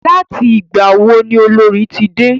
Láti ìgbà wo ni Olorì ti dé?